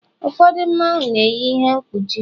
ụfọdụ Mmanwu na-eyi ihe mkpuchi